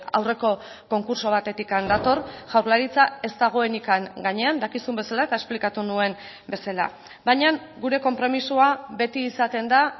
aurreko konkurtso batetik dator jaurlaritza ez dagoenik gainean dakizun bezala eta esplikatu nuen bezala baina gure konpromisoa beti izaten da